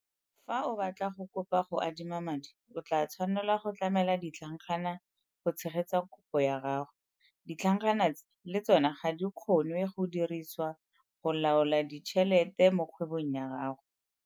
Fa o batla go kopa go adima madi, o tla tshwanelwa go tlamela ditlhankana go tshegetsa kopo ya gago. Ditlhankana tse le tsona ga di kgonwe go dirisiwa go laola ditšhelete mo kgwebong ya gago.